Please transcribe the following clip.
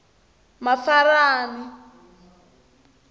mafarani